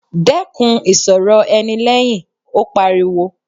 Dẹ́kun ìsọ̀rọ̀ ẹni lẹ́hìn! Ó pariwo.